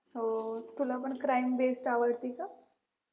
हो तुला पण crime base आवडती का